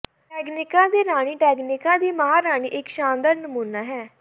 Tanganyika ਦੀ ਰਾਣੀ Tanganyika ਦੀ ਮਹਾਰਾਣੀ ਇਕ ਸ਼ਾਨਦਾਰ ਨਮੂਨਾ ਹੈ